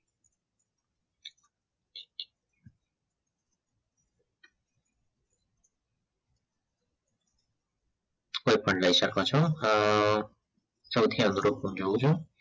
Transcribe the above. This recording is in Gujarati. કોઈપણ લઈ શકો છો અ સૌથી અઘરું જોઉં છું